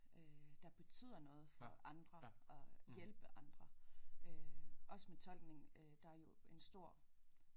Øh der betyder noget for andre og hjælpe andre øh også med tolkning øh der er jo en stor